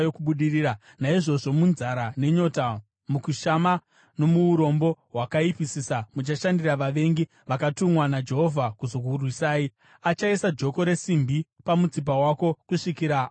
naizvozvo munzara nenyota, mukushama nomuurombo hwakaipisisa, muchashandira vavengi vakatumwa naJehovha kuzokurwisai. Achaisa joko resimbi pamutsipa wako kusvikira akuparadza.